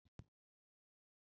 Ertu ein?